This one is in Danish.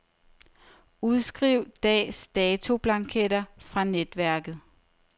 Udskriv dags datoblanketter fra netværket.